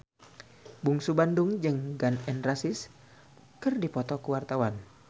Bungsu Bandung jeung Gun N Roses keur dipoto ku wartawan